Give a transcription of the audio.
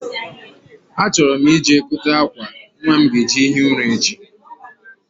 A chọrọ m i je gote akwa nwa m ga eji ehi ụra echi